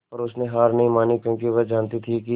पर उसने हार नहीं मानी क्योंकि वह जानती थी कि